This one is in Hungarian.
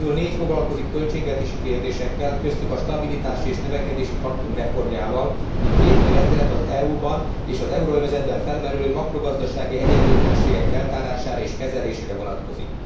Ezek közül négy foglalkozik költségvetési kérdésekkel, köztük a stabilitási és növekedési paktum reformjával, míg két új rendelet az EU ban és az euróövezetben felmerülő makrogazdasági egyenlőtlenségek feltárására és kezelésére vonatkozik.